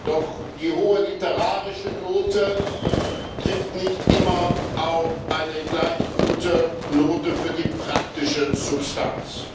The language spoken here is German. Doch die hohe literarische Note trifft nicht immer auf eine gleich gute Note für die praktische Substanz.